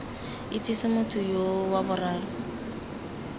itsese motho yoo wa boraro